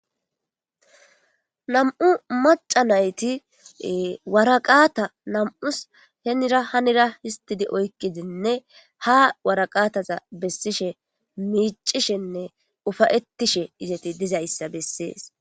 Nam'u mac'a nayti waraqata nam'usi henira hanira histidine oyiqidi ha waraqataza besishe mic'ishenne ufayetishe izeti dizzysa beses.